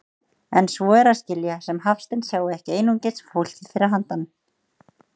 En svo er að skilja sem Hafsteinn sjái ekki einungis fólkið fyrir handan.